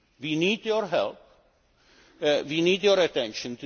all of you here. We need your help and